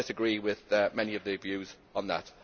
I do not disagree with many of the views on that.